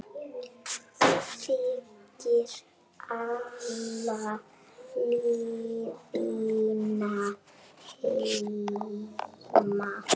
Þegir alla leiðina heim.